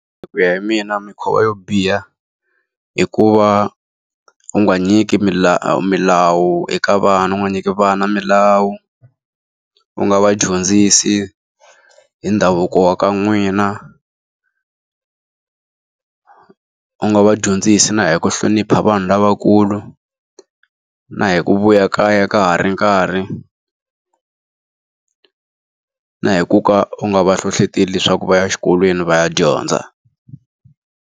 Hi ku ya hi mina mikhuva yo biha, hi ku va u nga nyiki milawu eka vana u nga nyika vana milawu. U nga va dyondzisi hi ndhavuko wa ka n'wina, u nga va dyondzisi na hi ku hlonipha vanhu lavakulu, na hi ku vuya kaya ka ha ri nkarhi, na hi ku ka u nga va hlohleteli leswaku va ya exikolweni va ya dyondza.